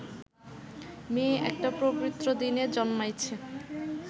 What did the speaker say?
মেয়ে একটা পবিত্র দিনে জন্মাইছে